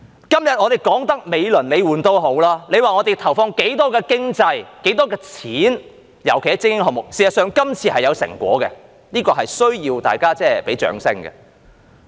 今天他們說得美輪美奐也好，說投放了多少錢，尤其是在精英項目上，而事實上，這次是有成果的，這是需要大家給予掌聲的。